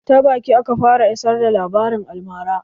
Ta baki aka fara isar da labarin almara